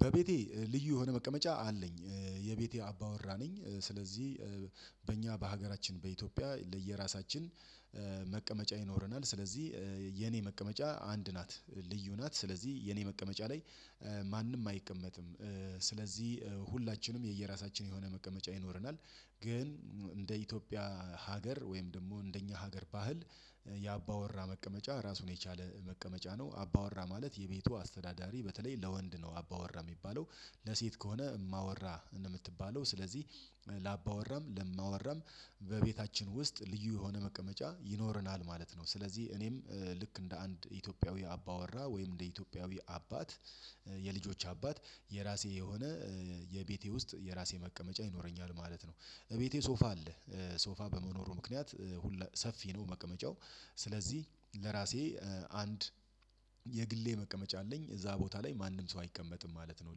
በቤቴ ልዩ የሆነ መቀመጫ አለኝ። የቤቴ አባወራ ነኝ። ስለዚህ በእኛ በሀገራችን በኢትዮጵያ ለየራሳችን መቀመጫ ይኖረናል። ስለዚህ የኔ መቀመጫ አንድ ናት። ልዩ ናት። ስለዚህ የኔ መቀመጫ ላይ ማንም አይቀመጥም። ስለዚህ ሁላችንም የየራሳችን የሆነ መቀመጫ ይኖረናል። ግን እንደ ኢትዮጵያ ሀገር ወይም ደግሞ እንደኛ ሀገር ባህል የአባወራ መቀመጫ ራሱን የቻለ መቀመጫ ነው። አባወራ ማለት የቤቱ አስተዳዳሪ በተለይ ለወንድ ነው አባወራ የሚባለው። ለሴት ከሆነ እማወራ ነው የምትባለው። ስለዚህ ለአባወራም ለእማወራም በቤታችን ውስጥ ልዩ የሆነ መቀመጫ ይኖረናል ማለት ነው። ስለዚህ እኔም ልክ እንደ አንድ ኢትዮጵያዊ አባወራ ወይም እንደ ኢትዮጵያዊ አባት የልጆች አባት የራሴ የሆነ የቤቴ ውስጥ የራሴ መቀመጫ ይኖረኛል ማለት ነው። እቤቴ ሶፋ አለ። ሶፋ በመኖሩ ምክንያት ሰፊ ነው መቀመጫው። ስለዚህ ለራሴ አንድ የግሌ መቀመጫ አለኝ። እዛ ቦታ ላይ ማንም ሰው አይቀመጥም ማለት ነው።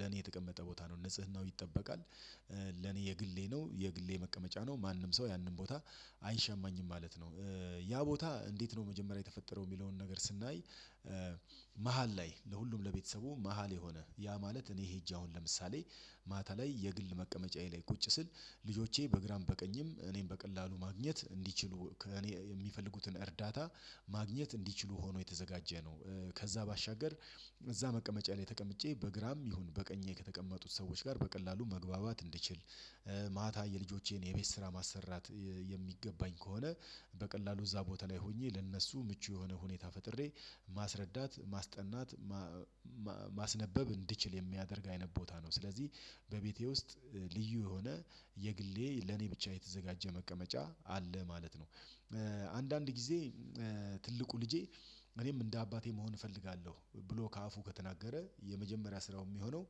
ለኔ የተቀመጠ ቦታ ነው። ንጽህናው ይጠበቃል። ለኔ የግሌ ነው። የግሌ መቀመጫ ነው። ማንም ሰው ያንን ቦታ አይሸማኝም ማለት ነው። ያ ቦታ እንዴት ነው መጀመሪያ የተፈጠረው፣ የሚለውን ነገር ስናይ መሃል ላይ ለሁሉም ለቤተሰቡ መሃል የሆነ ያ ማለት እኔ ሄጄ አሁን ለምሳሌ ማታ ላይ የግል መቀመጫዬ ላይ ቁጭ ስል ልጆቼ በግራም በቀኝም እኔን በቀላሉ ማግኘት እንዲችሉ ከእኔ የሚፈልጉትን እርዳታ ማግኘት እንዲችሉ ሆኖ የተዘጋጀ ነው። ከዛ ባሻገር እዛ መቀመጫ ላይ ተቀምጨ በግራም ይሁን በቀኜ ከተቀመጡት ሰዎች ጋር በቀላሉ መግባባት እንድችል፣ ማታ የልጆቼን የቤት ስራ ማሰራት የሚገባኝ ከሆነ በቀላሉ እዛ ቦታ ላይ ሆኜ ለእነሱ ምቹ የሆነ ሁኔታ ፈጥሬ ማስረዳት፣ ማስጠናት ማስነበብ እንድችል የሚያደርግ አይነት ቦታ ነው። ስለዚህ በቤቴ ውስጥ ልዩ የሆነ የግሌ ለኔ ብቻ የተዘጋጀ መቀመጫ አለ ማለት ነው። አንዳንድ ጊዜ ትልቁ ልጄ እኔም እንደ አባቴ መሆን እፈልጋለሁ ብሎ ከአፉ ከተናገረ የመጀመሪያ ስራው የሚሆነው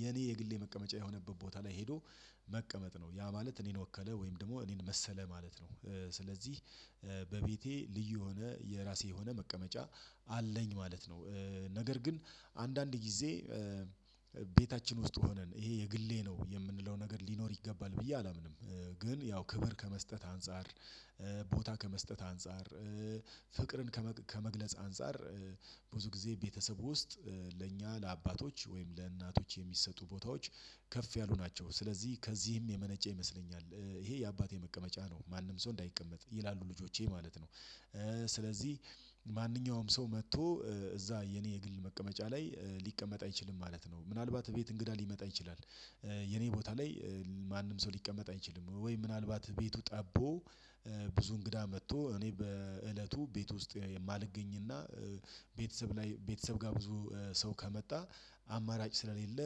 የኔ የግሌ መቀመጫ የሆነበት ቦታ ላይ ሄዶ መቀመጥ ነው። ያ ማለት እኔን ወከለ ወይም ደግሞ እኔን መሰለ ማለት ነው። ስለዚህ በቤቴ ልዩ የሆነ የራሴ የሆነ መቀመጫ አለኝ ማለት ነው። ነገር ግን አንዳንድ ጊዜ ቤታችን ውስጥ ሆነን ይሄ የግሌ ነው የምንለው ነገር ሊኖር ይገባል ብዬ አላምንም። ግን ያው ክብር ከመስጠት አንፃር፣ ቦታ ከመስጠት አንፃር፣ ፍቅርን ከመግለጽ አንፃር ብዙ ጊዜ ቤተሰብ ውስጥ ለእኛ ለአባቶች ወይም ለእናቶች የሚሰጡ ቦታዎች ከፍ ያሉ ናቸው። ስለዚህ ከዚህም የመነጨ ይመስለኛል። ይሄ የአባቴ መቀመጫ ነው ማንም ሰው እንዳይቀመጥ ይላሉ ልጆቼ ማለት ነው። ስለዚህ ማንኛውም ሰው መጥቶ እዛ የኔ የግል መቀመጫ ላይ ሊቀመጥ አይችልም ማለት ነው። ምናልባት ቤት እንግዳ ሊመጣ ይችላል የኔ ቦታ ላይ ማንም ሰው ሊቀመጥ አይችልም። ወይ ምናልባት ቤቱ ጠቦ ብዙ እንግዳ መጥቶ እኔ በእለቱ ቤት ውስጥ የማልገኝና ቤተሰብ ላይ ቤተሰብ ጋር ብዙ ሰው ከመጣ አማራጭ ስለሌለ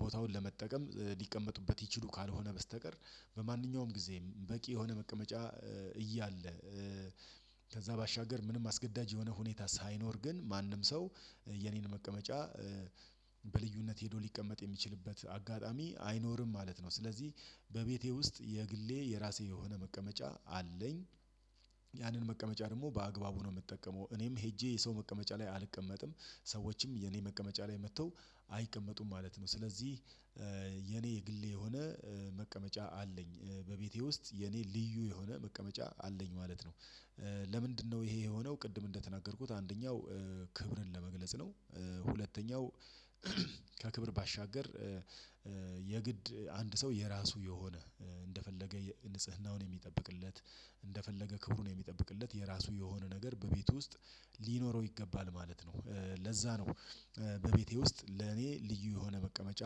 ቦታውን ለመጠቀም ሊቀመጡበት ይችሉ ካልሆነ በስተቀር በማንኛውም ጊዜ በቂ የሆነ መቀመጫ እያለ ከዛ ባሻገር ምንም አስገዳጅ የሆነ ሁኔታ ሳይኖር ግን ማንም ሰው የኔን መቀመጫ በልዩነት ሄዶ ሊቀመጥ የሚችልበት አጋጣሚ አይኖርም ማለት ነው። ስለዚህ በቤቴ ውስጥ የግሌ የራሴ የሆነ መቀመጫ አለኝ። ያንን መቀመጫ ደግሞ በአግባቡ ነው የምጠቀመው። እኔም ሄጄ የሰው መቀመጫ ላይ አልቀመጥም። ሰዎችም የኔ መቀመጫ ላይ መጥተው አይቀመጡም ማለት ነው። ስለዚህ የኔ የግሌ የሆነ መቀመጫ አለኝ። በቤቴ ውስጥ የኔ ልዩ የሆነ መቀመጫ አለኝ ማለት ነው። ለምንድነው ይሄ የሆነው ቅድም እንደተናገርኩት አንደኛው ክብርን ለመግለጽ ነው። ሁለተኛው ከክብር ባሻገር የግድ አንድ ሰው የራሱ የሆነ እንደፈለገ ንጽህናውን የሚጠብቅለት፣ እንደፈለገ ክብሩን የሚጠብቅለት የራሱ የሆነ ነገር በቤቱ ውስጥ ሊኖረው ይገባል ማለት ነው። ለዛ ነው በቤቴ ውስጥ ለኔ ልዩ የሆነ መቀመጫ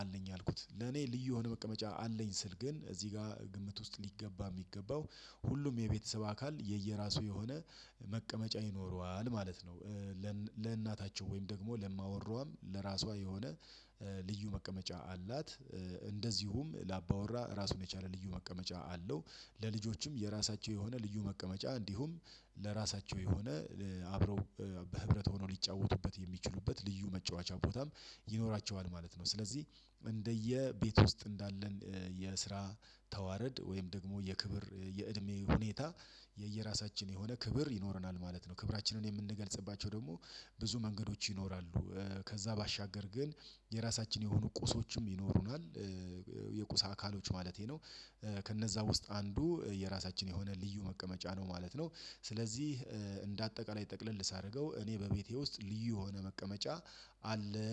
አለኝ ያልኩት። ለኔ ልዩ የሆነ መቀመጫ አለኝ ስል ግን እዚህ ጋር ግምት ውስጥ ሊገባ የሚገባው ሁሉም የቤተሰብ አካል የየራሱ የሆነ መቀመጫ ይኖረዋል ማለት ነው። ለእናታቸው ወይም ደግሞ ለእማወራዋም ለራሷ የሆነ ልዩ መቀመጫ አላት። እንደዚሁም ላአባወራ ራሱን የቻለ ልዩ መቀመጫ አለው። ለልጆችም የራሳቸው የሆነ ልዩ መቀመጫ እንዲሁም ለራሳቸው የሆነ አብረው በህብረት ሆነው ሊጫወቱበት የሚችሉበት ልዩ መጫወቻ ቦታም ይኖራቸዋል ማለት ነው። ስለዚህ እንደየቤት ውስጥ እንዳለን የስራ ተዋረድ ወይም ደግሞ የክብር የእድሜ ሁኔታ የየራሳችን የሆነ ክብር ይኖረናል ማለት ነው። ክብራችንን የምንገልጽባቸው ደግሞ ብዙ መንገዶች ይኖራሉ። ከዛ ባሻገር ግን የራሳችን የሆኑ ቁሶችም ይኖሩናል። የቁስ አካሎች ማለቴ ነው። ከነዛ ውስጥ አንዱ የራሳችን የሆነ ልዩ መቀመጫ ነው ማለት ነው። ስለዚህ እንደ አጠቃላይ ጠቅለል ሳደርገው እኔ በቤቴ ውስጥ ልዩ የሆነ መቀመጫ አለኝ።